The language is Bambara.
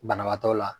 Banabaatɔ la